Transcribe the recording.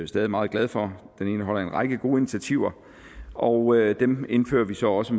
stadig meget glad for den indeholder en række gode initiativer og dem indfører vi så også